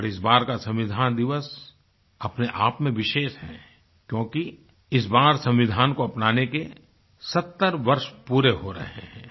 और इस बार का संविधान दिवस अपने आप में विशेष है क्योंकि इस बार संविधान को अपनाने के 70 वर्ष पूरे हो रहे हैं